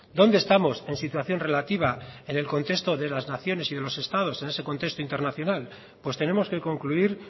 dónde estamos en situación relativa en el contexto de las naciones y de los estados en ese contexto internacional pues tenemos que concluir